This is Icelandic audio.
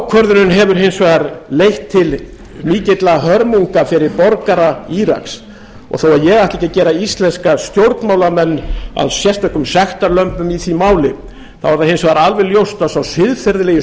ákvörðunin hefur hins vegar leitt til mikilla hörmunga fyrir borgara íraks og þó ég ætli ekki að gera íslenska stjórnmálamenn að sérstökum sektarlömbum í því máli þá er það hins vegar alveg ljóst að sá siðferðilegi